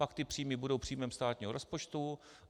Pak ty příjmy budou příjmem státního rozpočtu.